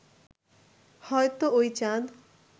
হয়তো ওই চাঁদ